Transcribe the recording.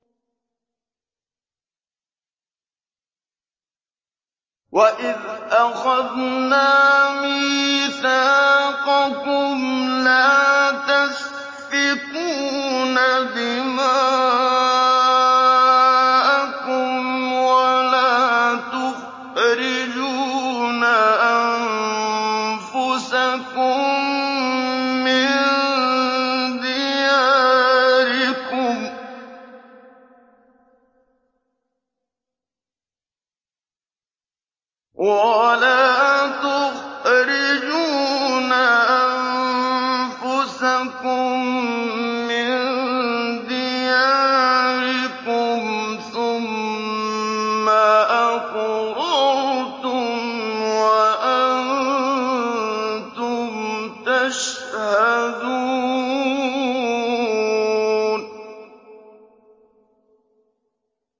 وَإِذْ أَخَذْنَا مِيثَاقَكُمْ لَا تَسْفِكُونَ دِمَاءَكُمْ وَلَا تُخْرِجُونَ أَنفُسَكُم مِّن دِيَارِكُمْ ثُمَّ أَقْرَرْتُمْ وَأَنتُمْ تَشْهَدُونَ